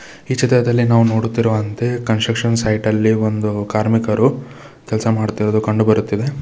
ಈ ಚಿತ್ರದಲ್ಲಿ ನಾವು ನೋಡುತ್ತಿರುವಂತೆ ಕನ್ಸ್ಟ್ರಕ್ಷನ್ ಸೈಟ ಲ್ಲಿ ಒಂದು ಕಾರ್ಮಿಕರು ಕೆಲಸ ಮಾಡುತ್ತಿರುವುದು ಕಂಡುಬರುತ್ತಿದೆ.